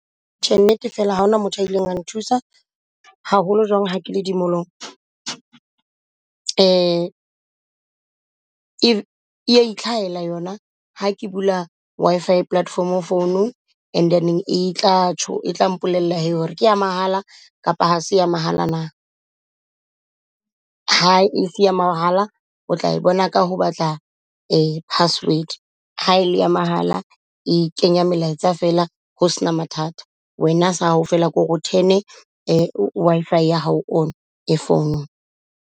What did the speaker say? Tjhe, nnete fela ha hona motho a ileng a nthusa haholo jwang ha ke le di molong. E a ithlahela yona ha ke bula Wi-Fi platform phone-ung. And then e tla tjho e tla mpolella hore ke ya mahala kapa ha se ya mahala na. Ha ese ya mahala, o tla bona ka ho batla password. Ha e le ya mahala e kenya melaetsa fela ho sena mathata. Wena sa hao fela kore o turn Wi-Fi ya hao on e founung.